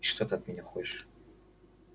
и что ты от меня хочешь